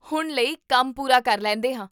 ਹੁਣ ਲਈ, ਕੰਮ ਪੂਰਾ ਕਰ ਲੈਂਦੇ ਹਾਂ